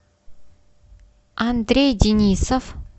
андрей денисов